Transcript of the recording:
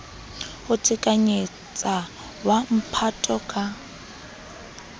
ho qhekanyetsa wa mphato ka